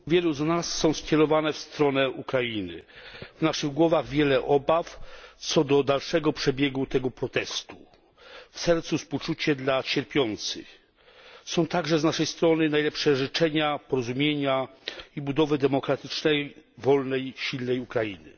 Pani Przewodnicząca! Myśli wielu z nas są skierowane w stronę Ukrainy. W naszych głowach wiele obaw co do dalszego przebiegu tego protestu. W sercu współczucie dla cierpiących. Są także z naszej strony najlepsze życzenia porozumienia i budowy demokratycznej, wolnej, silnej Ukrainy.